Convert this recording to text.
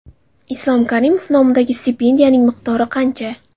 Islom Karimov nomidagi stipendiyaning miqdori qancha?.